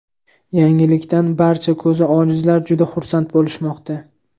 Yangilikdan barcha ko‘zi ojizlar juda xursand bo‘lishmoqda.